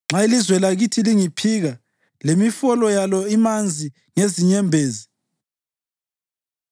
Nxa ilizwe lakithi lingiphika lemifolo yalo imanzi ngezinyembezi,